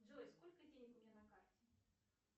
джой сколько денег у меня на карте